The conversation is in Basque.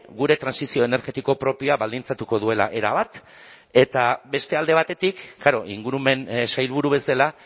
gure trantsizio energetiko propioa baldintzatuko duela erabat eta beste alde batetik klaro ingurumen sailburu bezala